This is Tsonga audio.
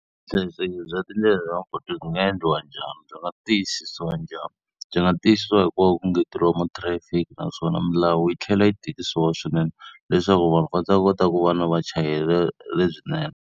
Vuhlayiseki bya tindlela lomu mapatwini ti nga endliwa njhani, byi nga tiyisisiwa njhani? Byi nga tiyisisiwa hi ku va ku engeteriwa mathirayifiki naswona milawu yi tlhela yi tikisiwa swinene leswaku vanhu va ndza kota ku va na vuchayeri lebyinene.